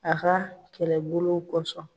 A ka kɛlɛbolo kɔsɔn.